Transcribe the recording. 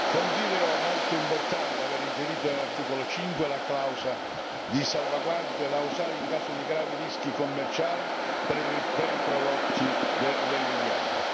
Considero molto importante avere inserito nell'articolo 5 la clausola di salvaguardia da usare in caso di gravi rischi commerciali per i prodotti dell'Unione.